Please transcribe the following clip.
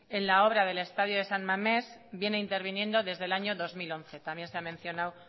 en la obra del estadio de san mamés viene interviniendo desde el año dos mil once también se ha mencionado